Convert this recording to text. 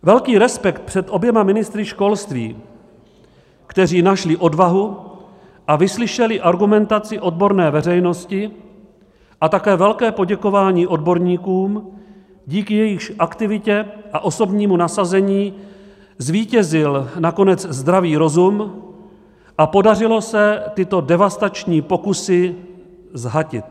Velký respekt před oběma ministry školství, kteří našli odvahu a vyslyšeli argumentaci odborné veřejnosti, a také velké poděkování odborníkům, díky jejichž aktivitě a osobnímu nasazení zvítězil nakonec zdravý rozum a podařilo se tyto devastační pokusy zhatit.